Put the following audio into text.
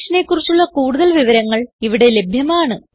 ഈ മിഷനെ കുറിച്ചുള്ള കുടുതൽ വിവരങ്ങൾ ഇവിടെ ലഭ്യമാണ്